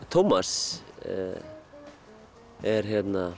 Tómas er